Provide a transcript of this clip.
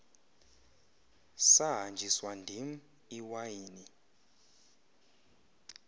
sahanjiswa ndim iwayini